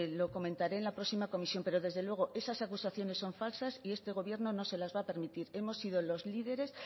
lo comentaré en la próxima comisión pero desde luego esas acusaciones son falsas y este gobierno no se lo va a permitir hemos sido los líderes